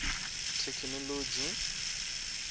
thekhinolodzhi